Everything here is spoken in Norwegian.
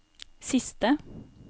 siste